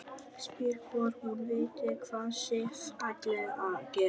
Spyr hvort hún viti hvað Sif ætli að gera.